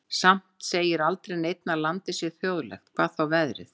Samt segir aldrei neinn að landið sé þjóðlegt, hvað þá veðrið.